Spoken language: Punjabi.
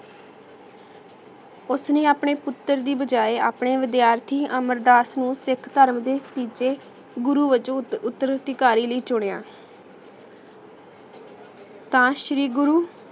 ਓਸਨੇ ਅਪਨੇ ਪੁਤਰ ਦੀ ਬਜਾਏ ਅਪਨੇ ਵਿਦਿਆਰਥੀ ਅਮਰ ਦਾਸ ਨੂੰ ਸਿਖ ਧਰਮ ਦੇ ਤੀਜੇ ਗੁਰੂ ਵਿਚੋਂ ਉਤਰ ਅਧਿਕਾਰੀ ਲਈ ਚੁਣਿਆ ਤਾਂ ਸ਼੍ਰੀ ਗੁਰੂ